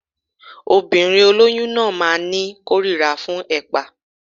Obìnrin olóyún náà máa ní kórira fún ẹ̀pà